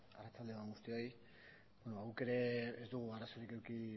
arratsalde on guztioi guk ere ez dugu arazorik eduki